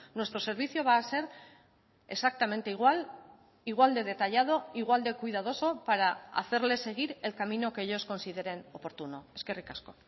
nuestro servicio va a ser exactamente igual igual de detallado igual de cuidadoso para hacerle seguir el camino que ellos consideren oportuno eskerrik asko